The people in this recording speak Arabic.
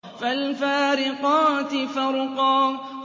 فَالْفَارِقَاتِ فَرْقًا